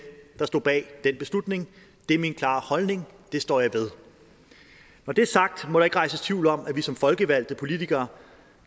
der stod bag den beslutning det er min klare holdning det står jeg ved når det er sagt må der ikke rejses tvivl om at vi som folkevalgte politikere